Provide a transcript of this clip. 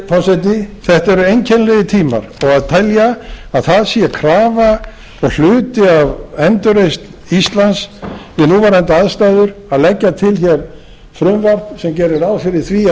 virðulegi forseti þetta eru einkennilegir tímar og að telja að það sé krafa og hluti af endurreisn íslands við núverandi aðstæður að leggja til frumvarp sem gerir ráð fyrir því